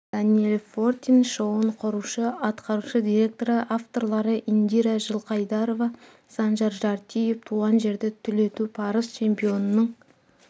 даниэль фортин шоуын құрушы атқарушы директоры авторлары индира жылқайдарова санжар жартиев туған жерді түлету парыз чемпионның